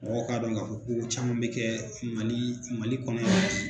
Mɔgɔw k'a dɔn k'a fɔ ko caman bɛ kɛ Mali Mali kɔnɔ yan.